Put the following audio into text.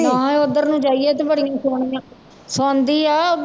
ਮੈਂ ਕਿਹਾ ਉੱਧਰ ਨੂੰ ਜਾਈਏ ਤੇ ਬੜੀ ਸੋਹਣੀਆਂ, ਸੁਣਦੀ ਆ ਉੱਧਰ